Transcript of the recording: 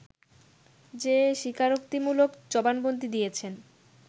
যে স্বীকারোক্তিমূলক জবানবন্দি দিয়েছেন